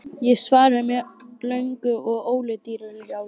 Ég svaraði með löngu og ólundarlegu jái.